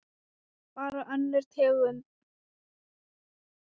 Bara önnur tegund.